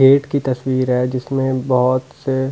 gate की तस्वीर है जिसमें बहोत से --